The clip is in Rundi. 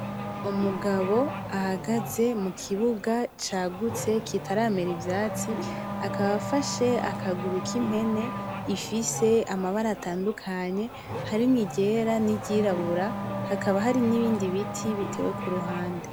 Umugabo ahagaze mukibuga cagutse kitaramera ivyatsi, akaba afashe akaguru k'impene ifise amabara atandukanye, harimwo iryera n'iryirabura ,hakaba hari n'ibindi biti bitewe kuruhande.